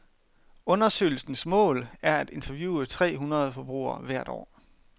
Undersøgelsens mål er at interviewe tre hundrede forbrugere hvert år.